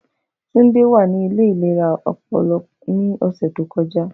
Tunde wa ni ile ilera ọpọlọ ni ọsẹ to kọja.